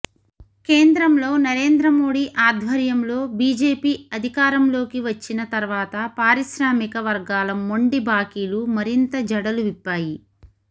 కేంద్రంలో నరేంద్ర మోడీ ఆధ్వర్యంలో బిజెపి అధికారంలోకి వచ్చిన తర్వాత పారిశ్రామిక వర్గాల మొండి బాకీలు మరింత జడలు విప్పాయి